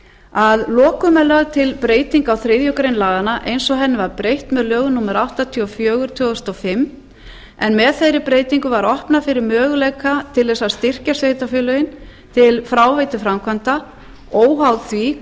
að lokum er lögð til breyting á þriðju grein laganna eins og henni var breytt með lögum númer áttatíu og fjögur tvö þúsund og fimm en með þeirri breytingu var opnað fyrir möguleika til að styrkja sveitarfélögin til fráveituframkvæmda óháð því